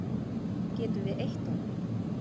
Getum við eytt honum?